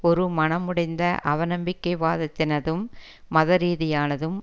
ஒரு மனமுடைந்த அவநம்பிக்கைவாதத்தினதும் மத ரீதியானதும்